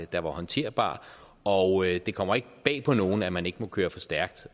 der var håndterbar og det kommer ikke bag på nogen at man ikke må køre for stærkt